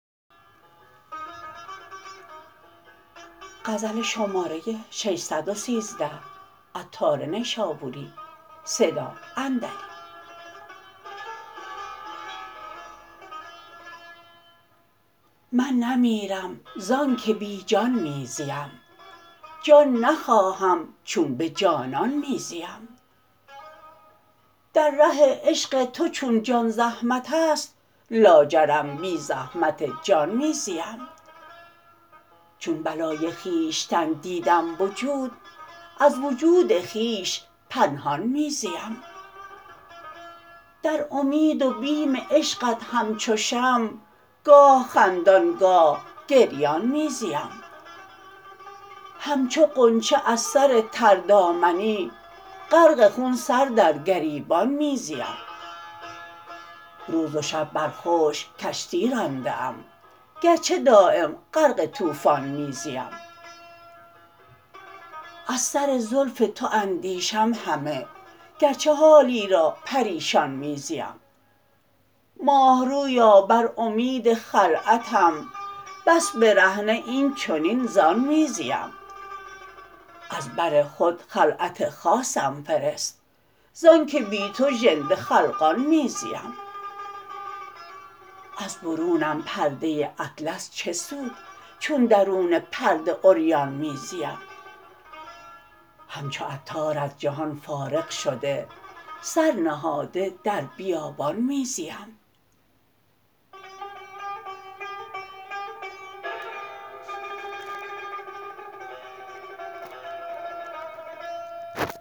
من نمیرم زانکه بی جان می زیم جان نخواهم چون به جانان می زیم در ره عشق تو چون جان زحمت است لاجرم بی زحمت جان می زیم چون بلای خویشتن دیدم وجود از وجود خویش پنهان می زیم در امید و بیم عشقت همچو شمع گاه خندان گاه گریان می زیم همچو غنچه از سر تر دامنی غرق خون سر در گریبان می زیم روز و شب بر خشک کشتی رانده ام گرچه دایم غرق طوفان می زیم از سر زلف تو اندیشم همه گرچه حالی را پریشان می زیم ماه رویا بر امید خلعتم بس برهنه این چنین زان می زیم از بر خود خلعت خاصم فرست زانکه بی تو ژنده خلقان می زیم از برونم پرده اطلس چه سود چون درون پرده عریان می زیم همچو عطار از جهان فارغ شده سر نهاده در بیابان می زیم